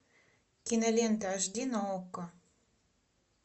кинолента аш ди на окко